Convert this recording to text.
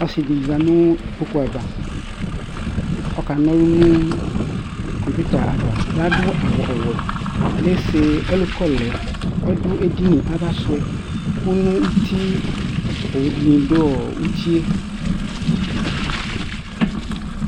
Ɔsɩdɩ zati n'ikpoku ava Ɔka n'ɔlʋ nʋ kɔŋpɩta ava Adʋ awʋ ɔwɛ ,lese ɛlʋkɔ lɛ Ɔdʋ edini ava sʋɛ kʋ ,n'utie owu dɩnɩ dʋ utie